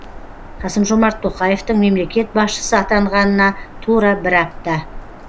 қасым жомарт тоқаевтың мемлекет басшысы атанғанына тура бір апта